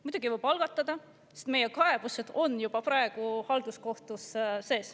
Muidugi võib algatada, sest meie kaebused on juba praegu halduskohtus.